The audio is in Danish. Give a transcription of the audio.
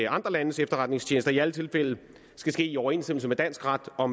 andre landes efterretningstjenester i alle tilfælde skal ske i overensstemmelse med dansk ret og